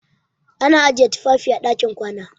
Ana ajiye tufafi a ɗakin kwana.